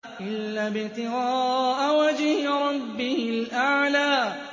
إِلَّا ابْتِغَاءَ وَجْهِ رَبِّهِ الْأَعْلَىٰ